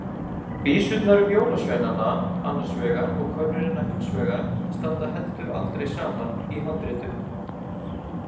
Vísurnar um jólasveinana annars vegar og könnuna hins vegar standa heldur aldrei saman í handritum.